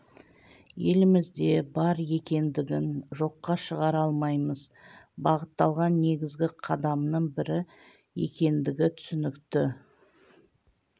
елімізде бар екендігін жоққа шығара алмаймыз бағытталған негізгі қадамның бірі екендігі түсінікті